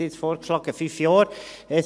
Sie haben jetzt fünf Jahre vorgeschlagen.